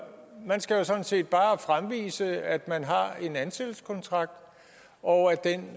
man skal sådan set bare fremvise at man har en ansættelseskontrakt og at den